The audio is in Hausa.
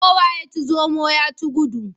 Kowa ya ci zomo ya ci gudu.